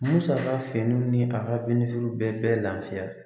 Musaka finiw ni a ka denmisɛnnin bɛɛ lafiya